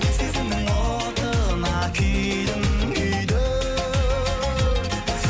сезімнің отына күйдім күйдім